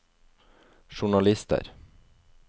journalister